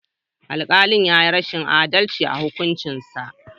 Alkali yayi rashin adalci a hukuncinsa.